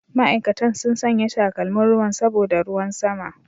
Ma'aikatan sun sanya takalmin ruwan saboda ruwan sama.